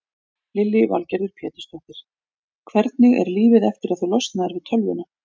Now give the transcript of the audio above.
Lillý Valgerður Pétursdóttir: Hvernig er lífið eftir að þú losnaðir við tölvuna?